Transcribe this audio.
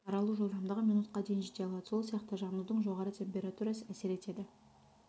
таралу жылдамдығы минутқа дейін жете алады сол сияқты жанудың жоғары температурасы әсер етеді